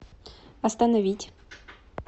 остановить